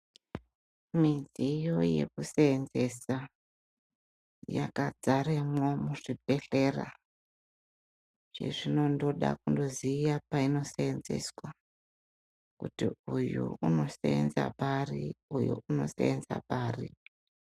Midziyo yekuseenzesa yakazaremwo muzvibhedhlera chezvinondoda kundoziye painoseenzeswa kuti uyo unoseenza pari uyo unoseenza paari.